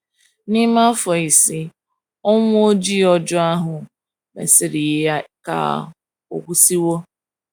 N’ime afọ ise Ọnwụ Ojii ọjọọ ahụ mesịrị yie ka ọ kwụsịwo.